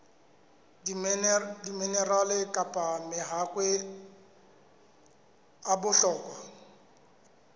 diminerale kapa mahakwe a bohlokwa